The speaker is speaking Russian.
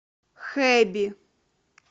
хэби